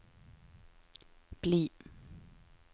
bli